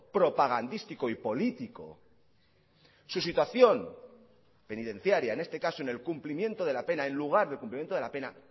propagandístico y político su situación penitenciaria en este caso en el cumplimiento de la pena en lugar del cumplimiento de la pena